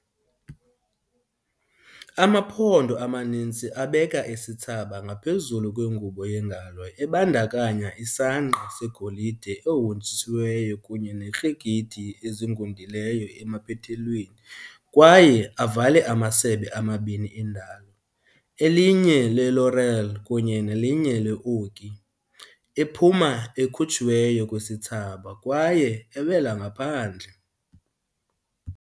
Amaphondo amaninzi abeka isithsaba ngaphezulu kwengubo yengalo ebandakanya isangqa segolide ehonjisiweyo kunye neekrekethi ezigudileyo emaphethelweni kwaye avale amasebe amabini endalo, elinye le-laurel kunye nelinye le-oki, ephuma ekhutshiwe kwisithsaba kwaye ewela ngaphandle.